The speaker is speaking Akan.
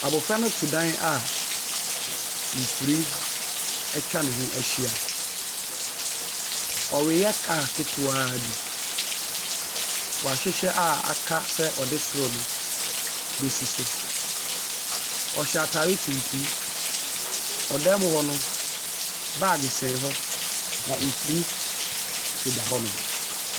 Abofra no te dan a nhwiren atwa ne ho ahyia. Ɔreyɛ kaa ketewa bi. Wahyehyɛ a aka sɛ ɔde soro no bɛsi so. Ɔhyɛ atare tuntum. Wɔ dan mu hɔ no, baage sɛn hɔ na nhwiren deda hɔnom.